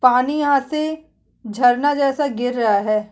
पानी यहाँ से झरना जैसा गिर रहा है।